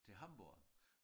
Til Hamborg